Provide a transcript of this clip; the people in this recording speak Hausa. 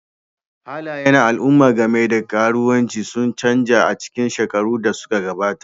Halayen al'umma game da karuwanci sun canza a cikin shekarun da suka gabata,